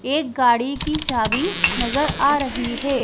एक गाड़ी की चाभी नजर आ रही है।